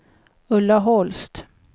Ulla Holst